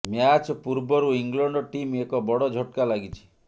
match ପୂର୍ବରୁ England team ଏକ ବଡ ଝଟକା ଲାଗିଛି